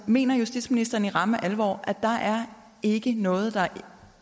mener justitsministeren i ramme alvor at der ikke er noget der